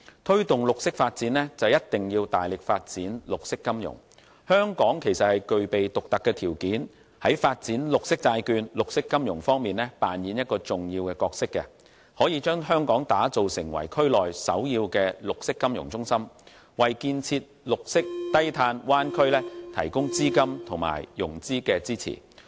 推動綠色發展一定要大力發展綠色金融，香港其實具備獨特的條件在發展綠色債券和綠色金融方面扮演重要的角色，可以將香港打造成為區內首要的綠色金融中心，為建設綠色低碳灣區提供資金和融資支持。